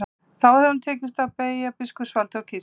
Þá hefði honum tekist að beygja biskupsvaldið og kirkjuna.